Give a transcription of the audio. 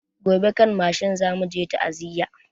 Gobe kan mashin zamu je ta'aziya